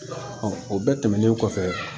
o bɛɛ tɛmɛnen kɔfɛ